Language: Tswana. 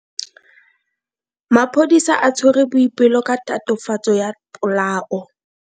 Maphodisa a tshwere Boipelo ka tatofatso ya polao.